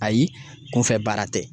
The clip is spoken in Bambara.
Ayi kunfɛ baara tɛ.